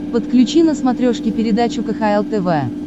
подключи на смотрешке передачу кхл тв